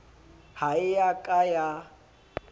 ha e ya ka ya